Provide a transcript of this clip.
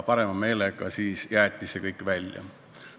Parema meelega jäeti see kõik välja.